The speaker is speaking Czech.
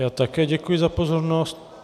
Já také děkuji za pozornost.